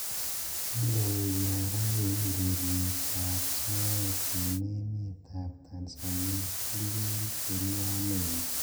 Indoi Nyara eng ureriet ab soet eng emet ab Tanzania tugulkokicheru Wanene.